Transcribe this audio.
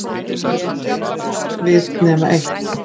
Gat hún átt við nema eitt?